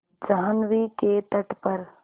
जाह्नवी के तट पर